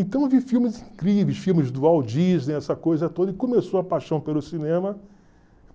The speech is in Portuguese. Então eu vi filmes incríveis, filmes do Walt Disney, essa coisa toda, e começou a paixão pelo cinema,